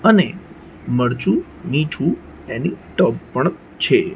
અને મરચુ મીઠુ એની ટબ પણ છે.